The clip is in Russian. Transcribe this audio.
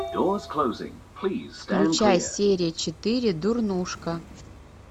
включай серия четыре дурнушка